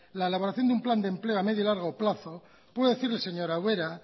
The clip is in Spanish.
la elaboración de un plan de empleo a medio o largo plazo puede decirle señora ubera